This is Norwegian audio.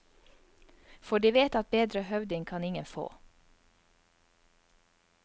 For de vet at bedre høvding kan ingen få.